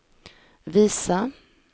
visa